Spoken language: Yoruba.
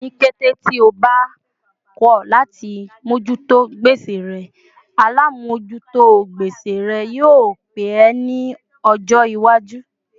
Ni kété tí ó bá kọ láti mojuto gbèsè rẹ, alamojuto gbèsè rẹ yio pé ẹ ní ọjọ iwaju